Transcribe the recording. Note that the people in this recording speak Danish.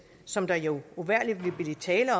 som der jo uvægerlig vil blive tale